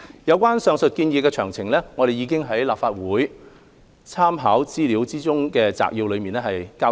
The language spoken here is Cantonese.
有關上述建議的詳情，我們已在立法會參考資料摘要中交代。